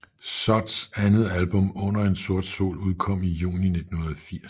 Sods andet album Under En Sort Sol udkom i juni 1980